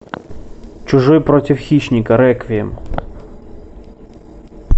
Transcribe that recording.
чужой против хищника реквием